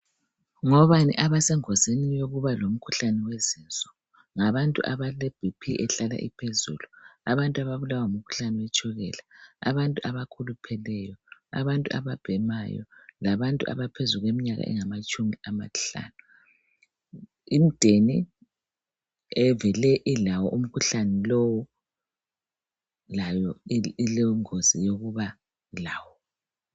ngobani abesengozini yokuba lomkhuhlane wezinso ngabantu abale BP ehlala iphezulu ngabantu ababulawa ngumkhuhlane wetshukela abantu abakhulupheleyo abantu ababhemayo labantu abaphezu kweminyaka engaphezu kwamatshumi amahlanu imdeni evele ilawo umkhuhlane lowu layo ilengozi yokuba lawo